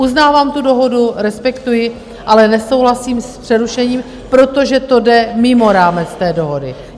Uznávám tu dohodu, respektuji, ale nesouhlasím s přerušením, protože to jde mimo rámec té dohody.